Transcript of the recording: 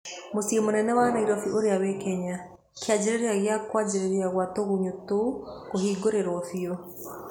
Mũciĩ mũnene wa Nairobi ũrĩa wĩ Kenya, kĩanjĩrĩria kĩa kwanjirĩria Kwa tũgunyũũcio kũhingĩrĩrio biũ.